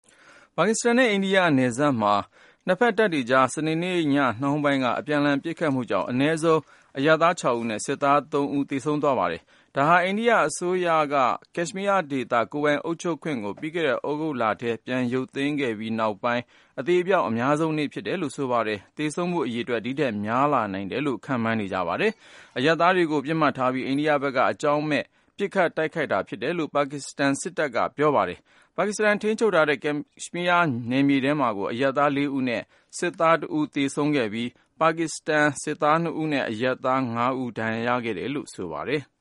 ပါကစ္စတန်နဲ့ အိန္ဒိယနယ်စပ်မှာ နှစ်ဖက်တပ်တွေကြား စနေနေ့ညနှောင်းပိုင်းက အပြန်အလှန် ပစ်ခတ်မှုကြောင့် အနည်းဆုံး အရပ်သား ၆ ဦးနဲ့ စစ်သား ၃ ဦး သေဆုံးသွားပါတယ်။ ဒါဟာ အိန္ဒိယအစိုးရက ကက်ရှ်မီးယားဒေသ ကိုယ်ပိုင်အုပ်ချုပ်ခွင့်ကို သြဂုတ်လမှာ ရုပ်သိမ်းခဲ့ပြီး နောက်ပိုင်း အသေအပျောက် အများဆုံးနေ့ ဖြစ်တယ်လို့ ဆိုပါတယ်။ သေဆုံးမှုအရေအတွက် ဒီထက်များလာနိုင်တယ်လို့ နှစ်ဖက်စလုံးက ပြောပါတယ်။ အရပ်သားတွေကို ပစ်မှတ်ထားပြီး အိန္ဒိယဘက်က အကြောင်းမဲ့ ပစ်ခတ်တာဖြစ်တယ်လို့ ပါကစ္စတန်စစ်တပ် ပြောခွင့်ရ ဗိုလ်ချုပ် Asif Ghafoor က သူ့ Twitter မှာ တနင်္ဂနွေနေ့က ရေးပါတယ်။ ပါကစ္စတန်ထိန်းချုပ်တဲ့ ကက်ရှ်မီးယားနယ်မြေထဲမှာ အရပ်သား ၄ ဦးနဲ့ စစ်သား ၁ ဦး သေဆုံးပြီး ပါကစ္စတန်စစ်သား ၂ ဦးနဲ့ အရပ်သား ၅ ဦး ဒဏ်ရာရတယ်လို့ ဆိုပါတယ်။